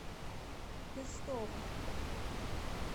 пестово